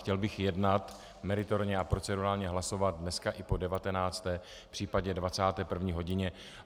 Chtěl bych jednat, meritorně a procedurálně hlasovat dneska i po 19., případně 21. hodině.